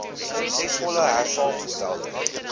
suksesvolle hersaamge stelde